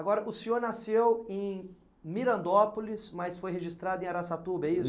Agora, o senhor nasceu em Mirandópolis, mas foi registrado em Arasatuba, é isso?